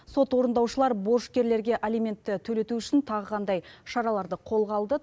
сот орындаушылар борышкерлерге алиментті төлету үшін тағы қандай шараларды қолға алды